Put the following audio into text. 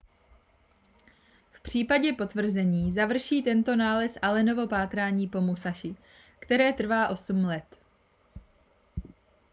v případě potvrzení završí tento nález allenovo pátrání po musashi které trvá osm let